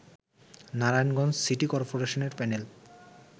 Narayanganj city করপোরেশনের panel